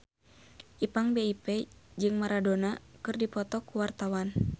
Ipank BIP jeung Maradona keur dipoto ku wartawan